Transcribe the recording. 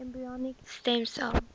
embryonic stem cell